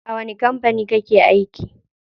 A wani kampani kake aiki?